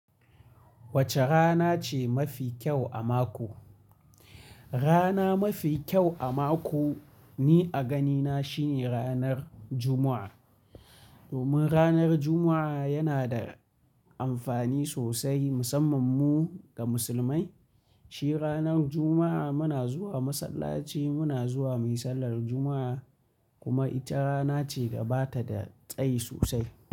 Wace rana ce mafi kyau a mako? Rana mafi kyau a mako ni a ganina shine ranar Juma'a. Domin ranar Juma'a yana da amfani sosai, musamman mu ga musulmai. Shi ranar Juma'a muna zuwa masallaci, muna zuwa muyi sallar Juma'a kuma ita rana ce da bata da tsayi sosai.